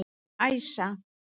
Æsa